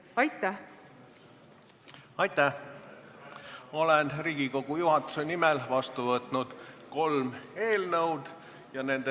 Aitäh!